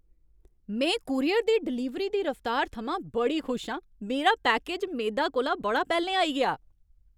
में कूरियर दी डलीवरी दी रफ्तार थमां बड़ी खुश आं। मेरा पैकेज मेदा कोला बड़ा पैह्लें आई गेआ!